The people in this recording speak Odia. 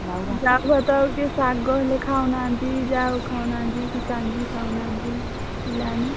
ଜାଉ ଭାତ ଆଉ କେହି ଶାଗ ହେଲେ ଖାଉନାହାନ୍ତି ଜାଉ ଖାଉନାହାନ୍ତି କି କାଞ୍ଜି ଖାଉନାହାନ୍ତି ପିଲାମାନେ।